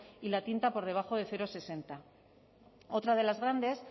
y la tinta por debajo de cero coma sesenta otra de las grandes